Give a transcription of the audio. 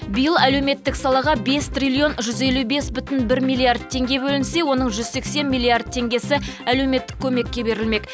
биыл әлеуметтік салаға бес триллион жүз елу бес бүтін бір миллиард теңге бөлінсе оның жүз сексен миллиард теңгесі әлеуметтік көмекке берілмек